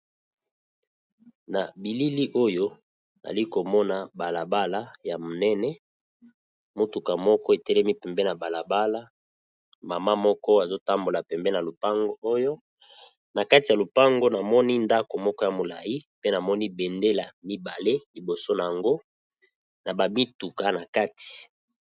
Na bilili oyo ali komona balabala ya monene, motuka moko etelemi pembe na balabala, mama moko azotambola pembeni na lupango oyo, na kati ya lupango namoni ndako moko ya molai pe namoni bendela mibale liboso na yango na bamituka na kati.